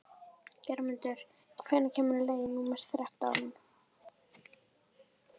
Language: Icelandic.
Geirmundur, hvenær kemur leið númer þrettán?